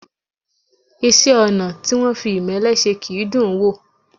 Iṣẹ́-ọnà̀ tí wọ́n fi ìmẹ́lẹ́ se kì í dùn ún wò.